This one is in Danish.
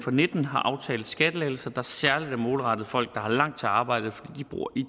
og nitten har aftalt skattelettelser der særlig er målrettet folk der har langt til arbejde fordi de bor i